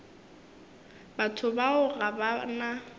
batho bao ga ba na